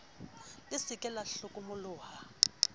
le se ke la hlokomoloha